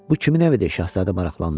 Bu kimin evidir, Şahzadə maraqlandı.